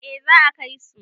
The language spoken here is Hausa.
eh za a Kai su